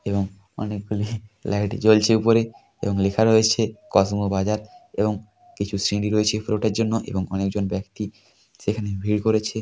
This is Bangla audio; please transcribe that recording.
এবং অনেক গুলি লাইট জ্বলছে ওপরে এবং লেখা রয়েছে কসমো বাজার এবং কিছু সিঁড়ি রয়েছে পরে ওঠার জন্য এবং একজন ব্যাক্তি সেখানে ভিড় করছে ।